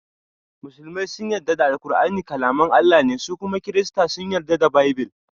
Musulmai sun yarda da ƙur'ani kalaman Allah ne su kuma kirista sun yarda da Baibill.